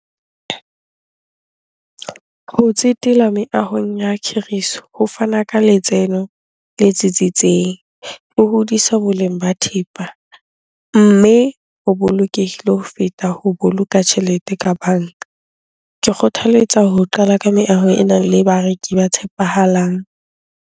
Ho tsetela meahong ya khiriso ho fana ka letseno le tsitsitseng, ho hodiswa boleng ba thepa mme ho bolokehile ho feta ho boloka tjhelete ka banka. Ke kgothaletsa ho qala ka meaho e nang le bareki ba tshepahalang.